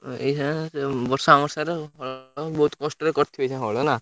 ଏଇଖିଣା ବର୍ଷା ମର୍ଶା ରେ ବହୁତ କଷ୍ଟରେ କରୁଥିବେ ଏଇଛା ନା?